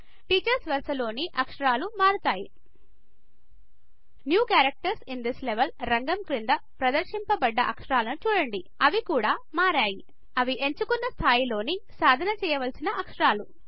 teachers వరస లోని ఆకాశారాలు మారుతాయి new characters in this level రంగం క్రింద ప్రదర్శించబడ్డ అక్షరాలను చూడండిఅవి కూడా మర్యాయి ఇవి ఎంచుకున్న స్థాయిలో సాధన చేయవలసిన అక్షరాలు